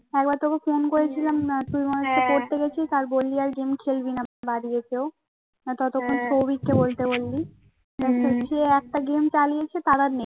একবার তোকে ফোন করেছিলাম তুমি মনে হচ্ছে পরতে গেছিস আর বললি আর গেম খেলবি না বাড়ি এসেও ততক্ষণ সৌভিক কে বলতে বললি কে একটা গেম চালিয়েছে তারা আর নেই